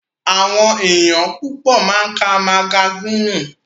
Àwọn ènìyàn púpọ̀ máa ń ká magasínì.